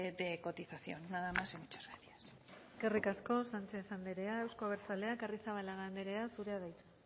de cotización nada más y muchas gracias eskerrik asko sánchez anderea euzko abertzaleak arrizabalaga anderea zurea da hitza